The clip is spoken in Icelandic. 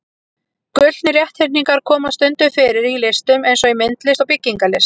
Gullnir rétthyrningar koma stundum fyrir í listum eins og í myndlist og byggingarlist.